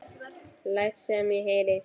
Læt sem ég heyri.